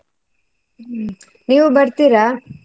ಹ್ಮ್ ನೀವು ಬರ್ತೀರಾ?